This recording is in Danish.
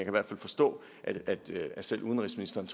i hvert fald forstå at selv udenrigsministeren